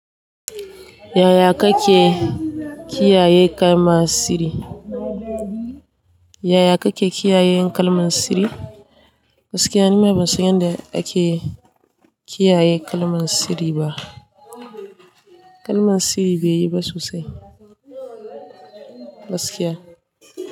Yaya kake kiyaye kalman siri? Yaya kake kiyaye kalman siri? Gaskiya ni ma ban san yadda ake kiyaye kalman siri ba. Kalman siri bai yi ba sosai gaskiya.